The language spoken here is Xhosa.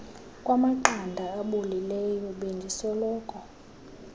kwamaqanda abolileyo bendisoloko